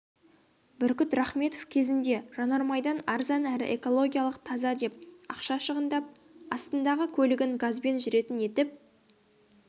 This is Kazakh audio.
бүркіт рахметов кезінде жанармайдан арзан әрі экологиялық таза деп ақша шығындап астындағы көлігін газбен жүретін етіп